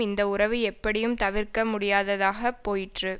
இந்த உறவு எப்படியும் தவிர்க்க முடியாததாகப் போயிற்று